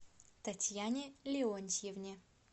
татьяне леонтьевне